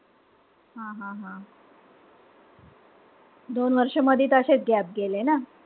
हा-हा-हा. दोन वर्ष त मधी त अशेच gap गेले न?